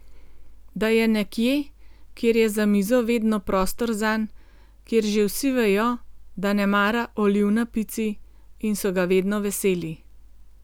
Da je nekje, kjer je za mizo vedno prostor zanj, kjer že vsi vejo, da ne mara oliv na pici, in so ga vedno veseli.